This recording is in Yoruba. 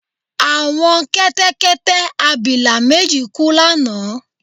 Àwọn kẹ́tẹ́kẹ́tẹ́-abilà méjì kú lánàá